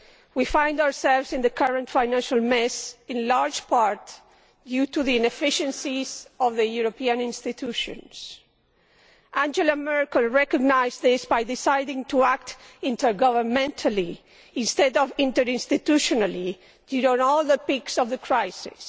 We find ourselves in the current financial mess in large part due to the inefficiency of the European institutions. Angela Merkel recognised this by deciding to act intergovernmentally instead of interinstitutionally, during all the peaks of the crisis.